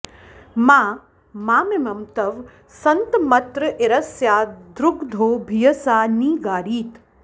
मा मामिमं तव सन्तमत्र इरस्या द्रुग्धो भियसा नि गारीत्